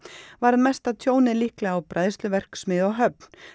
varð mesta tjónið líklega á á Höfn